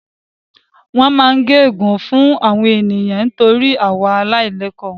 Wọ́n máa ń gẹ gun fún àwọn ènìyàn nítorí ìwà àìlẹ̀kọ́ wọn